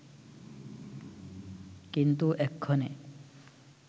কিন্তু এক্ষণে